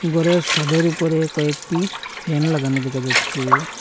গরের সাদের উপরে কয়েকটি ফ্যান লাগানো দেখা যাচ্চে।